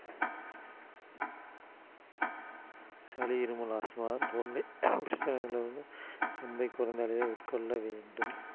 சளி, இருமல், ஆஸ்துமா போன்ற பிரச்சனை உள்ளவர்கள் கம்பை குறைந்த அளவில் உட்கொள்ள வேண்டும்